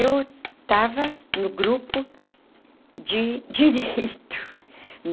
Eu estava no grupo de direito.